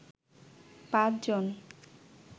পাঁচ জন